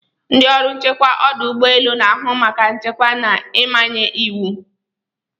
Ndị ọrụ nchekwa ọdụ ụgbọ elu na-ahụ maka nchekwa na ịmanye iwu.